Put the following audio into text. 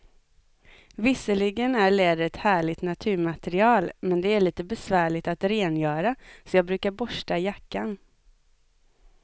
Visserligen är läder ett härligt naturmaterial, men det är lite besvärligt att rengöra, så jag brukar borsta jackan.